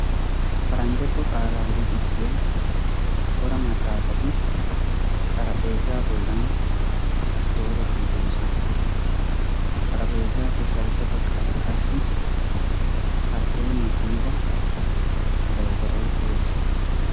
Paraanjjato qaalaa luxissiya cora maxaafati xarapheezza bolan dooreti uttidoosona. Ha xarapheezzappe garssa baggaara qassi karttoniyaa kumida dawutaray de'ees.